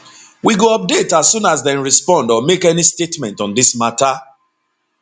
we go update as soon as dem respond or make any statement on dis mata